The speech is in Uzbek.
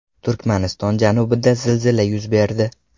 Turkmaniston janubida zilzila yuz berdi.